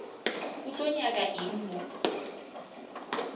o tlo nyaka eng mo